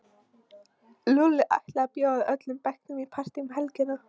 Lúlli ætlaði að bjóða öllum bekknum í partí um helgina.